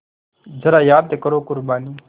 ज़रा याद करो क़ुरबानी